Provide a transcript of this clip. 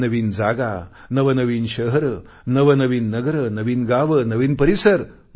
नवीन नवीन जागा नवनवीन शहरे नवनवीन नगर नवीन गावे नवीन परिसर